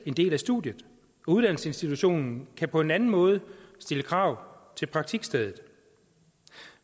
en del af studiet og uddannelsesinstitutionen kan på en anden måde stille krav til praktikstedet